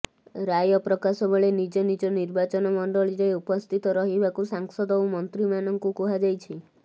ରାୟ ପ୍ରକାଶ ବେଳେ ନିଜ ନିଜ ନିର୍ବାଚନ ମଣ୍ଡଳୀରେ ଉପସ୍ଥିତ ରହିବାକୁ ସାଂସଦ ଓ ମନ୍ତ୍ରୀମାନଙ୍କୁ କୁହାଯାଇଛି